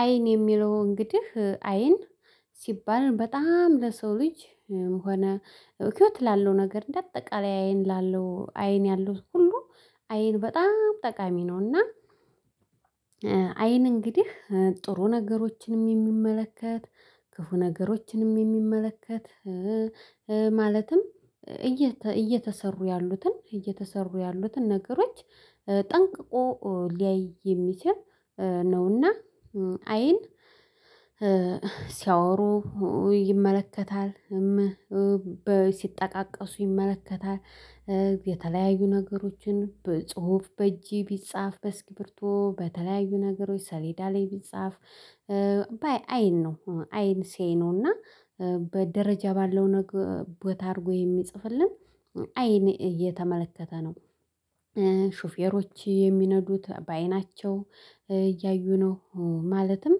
አይን የሚለው እንግዲህ አይን ሲባል በጣም ለሰው ልጅ ሆነ ህይወት ላለው ነገር እንደ አጠቃላይ አይን ላለው አይን ያሉት ሁሉ አይን በጣም ጠቃሚ ነውና። አይን እንግዲህ ጥሩ ነገሮችን እሚመለከት ክፉ ነገሮችን እሚመለከት። ማለትም እየተሰሩ ያሉትን እየተሰሩ ያሉትን ነገሮች ጠንቅቆ ሊያይ የሚችል ነውና አይን። ሲያወሩ ይመለከታል። ሲጠቃቀሱ ይመለከታል የተለያዩ ነገሮችን በጽሁፍ በእጄ ቢጻፍ በስኪፕርቶ በተለያዩ ነገሮች ሰሌዳ ላይ ቢጻፍ። አይን ነው አይን ሲያይ ነው። እና በደረጃ ባለው ነገር ቦታ አድርጎ የሚጽፍልን አይን እየተመለከተ ነው። ሹፌሮች የሚነዱት በአይናቸው እያዩ ነው ማለትም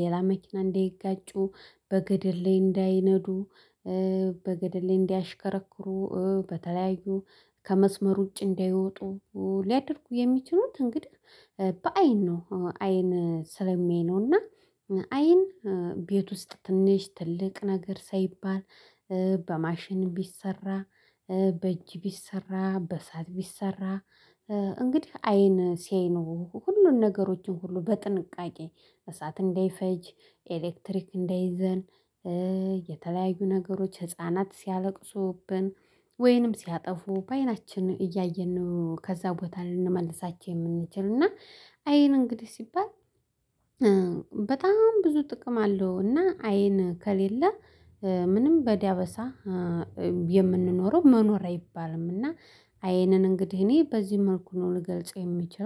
ሌላ መኪና እንዳይጋጩ በገደል ላይ እንዳይነዱ። በገድል ላይ እንዳያሽከረክሩ በተለያዩ ከመስመር ውጪ እንዳይወጡ። ሊያደርጉ የሚችሉትን እንግዲህ በአይን ነው አይን ስለሚያይ ነውና። አይን ቤት ውስጥ ትንሽ ትልቅ ነገር ሳይባል በማሽን ቢሰራ በእጅ ቢሰራ በእሳት ቢሰራ። እንግዲህ አይን ሲያይ ነው ሁሉን ነገሮችን ሁሉ በጥንቃቄ እሳት እንዳይፈጅ ኤሌክትሪክ እንዳይዘን። የተለያዩ ነገሮች ህፃናት ሲያለቅሱብን ወይንም ሲያጠፉ በአይናችን እያየን ነው ከዛ ቦታ ልንመልሳቸው የምንችልን እና። አይን እንግዲህ ሲባል በጣም ብዙ ጥቅም አለው። እና አይን ከሌለ ምንም በዳበሳ የምንኖረው መኖር አይባልም። እና አይንን እንግዲህ እኔ በዚህ መልኩ ነው ልገልጸው የምችለው